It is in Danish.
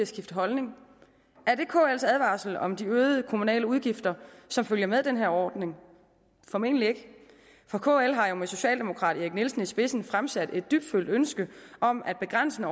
skifte holdning er det kls advarsel om de øgede kommunale udgifter som følger med den her ordning formentlig ikke for kl har jo med socialdemokraten erik nielsen i spidsen fremsat et dybtfølt ønske om at begrænse